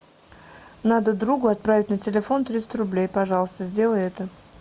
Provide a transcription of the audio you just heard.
надо другу отправить на телефон триста рублей пожалуйста сделай это